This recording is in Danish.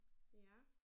Ja